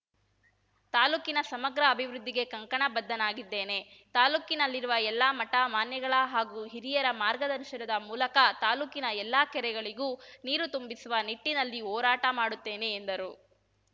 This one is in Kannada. ತಾಲೂಕಿನ ಸಮಗ್ರ ಅಭಿವೃದ್ದಿಗೆ ಕಂಕಣ ಬದ್ದನಾಗಿದ್ದೇನೆ ತಾಲೂಕಿನಲ್ಲಿರುವ ಎಲ್ಲಾ ಮಠ ಮಾನ್ಯಗಳ ಹಾಗೂ ಹಿರಿಯರ ಮಾರ್ಗದರ್ಶನದ ಮೂಲಕ ತಾಲೂಕಿನ ಎಲ್ಲಾ ಕೆರೆಗಳಿಗೂ ನೀರು ತುಂಬಿಸುವ ನಿಟ್ಟಿನಲ್ಲಿ ಹೋರಾಟ ಮಾಡುತ್ತೇನೆ ಎಂದರು